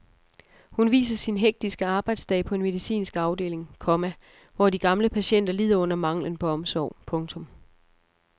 Hun viser sin hektiske arbejdsdag på en medicinsk afdeling, komma hvor de gamle patienter lider under manglen på omsorg. punktum